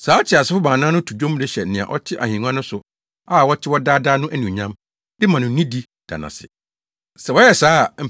Saa ateasefo baanan no to nnwom de hyɛ nea ɔte ahengua no so a ɔte hɔ daa daa no anuonyam, de ma no nidi, da no ase. Sɛ wɔyɛ saa a,